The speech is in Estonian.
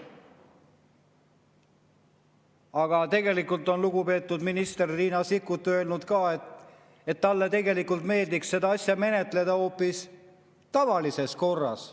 Aga tegelikult on lugupeetud minister Riina Sikkut öelnud, et ka talle meeldiks seda asja menetleda hoopis tavalises korras.